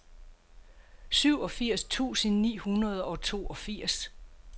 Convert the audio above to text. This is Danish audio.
syvogfirs tusind ni hundrede og toogfirs